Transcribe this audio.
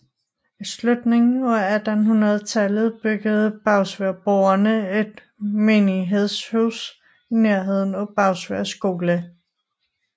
I slutningen af 1800 tallet byggede Bagsværdboere et menighedshus i nærheden af Bagsværd skole